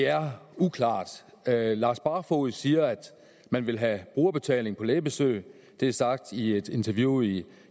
det er uklart herre lars barfoed siger at man vil have brugerbetaling på lægebesøg det er sagt i et interview i